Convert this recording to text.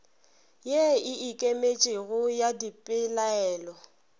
ye e ikemetšego ya dipelaelo